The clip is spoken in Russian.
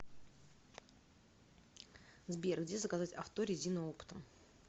сбер где заказать авто резину оптом